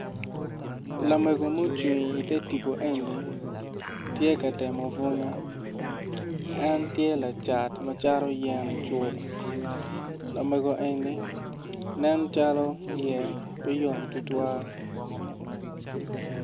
Lamego mucung ite tibu eni tye ka temo bunyu en tye lacat ma cato yen icuk lamego eni nen calo iye pe yom tutwal